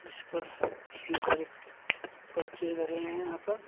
जिस पर कितने सारे पर्चे धरे हुए हैं यहां पर।